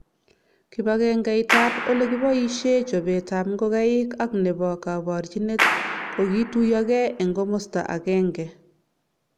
kibagengeit ab olekiboishe chobet ab ngokenik ak nebo kaborjibet kokituyokei eng komasta akenge